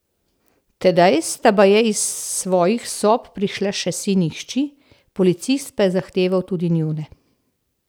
Tedaj sta baje iz svojih sob prišla še sin in hči, policist pa je zahteval tudi njune.